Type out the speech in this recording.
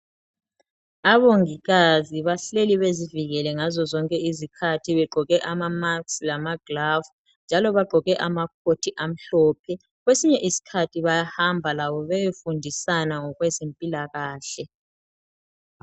Abongikazi bahleli bezivikela ngaso sonke isikhathi begqoke ama masks lamagloves njalo bagqoke amakhothi amhlophe kwesinye isikhathi bayahamba labo beyefundisana ngokwezempilakahle.